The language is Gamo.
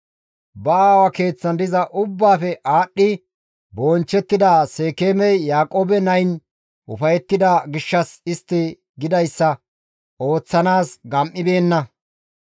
Ba aawa keeththan diza ubbaafe aadhdhi bonchchettida Seekeemey Yaaqoobe nayin ufayettida gishshas istti gidayssa ooththanaas gam7ibeenna.